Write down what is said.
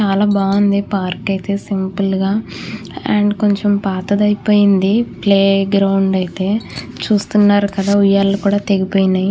చాలా బాగుంది పార్క్ అయితే సింపుల్ గా అండ్ కొంచెం పాతది అయిపోయింది ప్లే గ్రౌండ్ అయితే చూస్తున్నారు కదా ఉయ్యాల కూడా తెగిపోయింది.